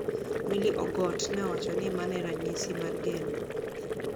Milly Ogot ni e owacho nii mano e raniyisi mar geno.